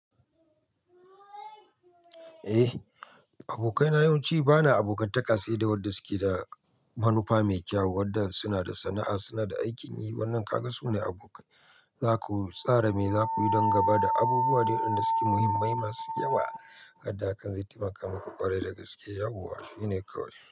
Eh, abokaina yawanci bana abokantaka sai da waɗanda suke da manufa mai kyau, waɗanda suna da sana'a, suna da aikin yi. Wannan ka ga su ne abokai. Za ku tsara me za ku yi dangane da abubuwa da waɗanda suke muhimmai masu yawa. Haddakan zai taimaka muku ƙwarai da gaske, yawowa shi ne kawai.